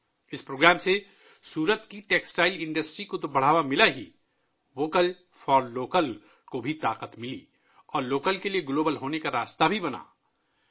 اس programme نے نہ صرف سورت کی ٹیکسٹائل انڈسٹری کو فروغ دیا بلکہ 'ووکل فار لوکل' کو بھی تقویت ملی اور مقامی کے گلوبل بننے کی راہ بھی ہموار کی